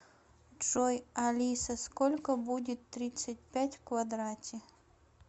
джой алиса сколько будет тридцать пять в квадрате